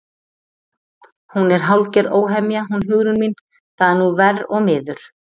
Hún er hálfgerð óhemja hún Hugrún mín, það er nú verr og miður.